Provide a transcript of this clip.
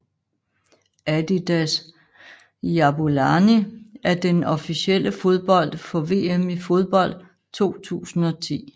Adidas Jabulani er den officielle fodbold for VM i fodbold 2010